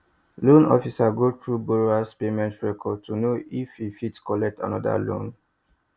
loan officer go through borrower payment record to know if e fit collect another loan